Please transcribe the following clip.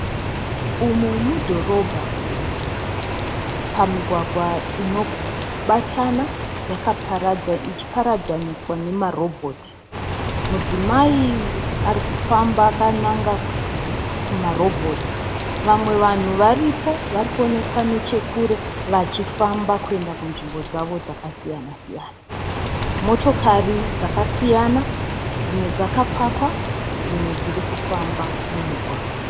Umu mudhorobha. Pamugwagwa inobatana ichiparadzaniswa nemarobhoti. Mudzimai arikufamba akananga kumarobhoti. Vamwe vanhu varipo vari kuonekwa nechekure vachifamba kuenda kunzvimbo dzavo dzakasiyana - siyana. Motokari dzakasiyana. Dzimwe dzakapakwa dzimwe dziri kufamba mumugwagwa.